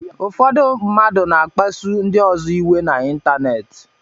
Ụfọdụ mmadụ na-akpasu ndị ọzọ iwe na ịntanetị